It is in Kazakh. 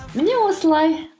міне осылай